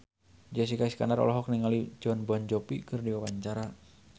Jessica Iskandar olohok ningali Jon Bon Jovi keur diwawancara